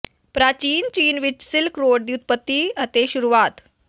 ਪ੍ਰਾਚੀਨ ਚੀਨ ਵਿਚ ਸਿਲਕ ਰੋਡ ਦੀ ਉਤਪਤੀ ਅਤੇ ਸ਼ੁਰੂਆਤ